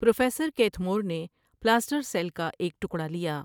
Professor Keith Moore نے پلاسٹرٔسیل کا ایک ٹکڑا لیا ۔